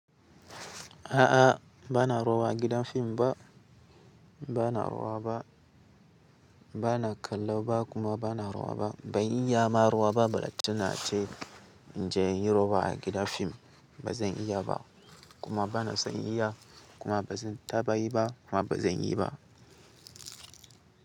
A'a, bana rowa gidan fim ba. Bana rowa ba, bana kallo ba kuma bana rowa ba. Ban iya ma rowa ba. Balatana ce inje inyi rowa a gidan fim. Ba zan iya ba kuma bana son iya kuma bazan taɓa yi ba kuma bazan yi ba.